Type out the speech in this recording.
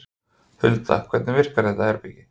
Hulda, hvernig virkar þetta herbergi?